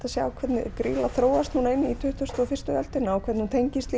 að sjá hvernig grýla þróast inn í tuttugustu og fyrstu öldina og hvernig hún tengist